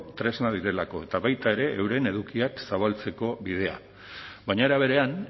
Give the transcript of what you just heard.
tresna direlako eta baita ere euren edukiak zabaltzeko bidea baina era berean